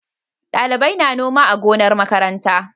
Ɗalibai na noma a gonar makaranta.